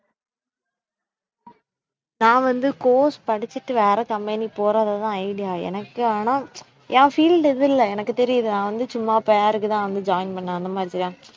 நான் வந்து course படிச்சுட்டு வேற company போறதுதான் idea எனக்கு ஆனா என் field இது இல்லை எனக்குத் தெரியுது நான் வந்து சும்மா பேர்க்குத்தான் வந்து join பண்ணேன் அந்த மாதிரிதான்